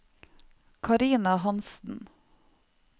Carina Hanssen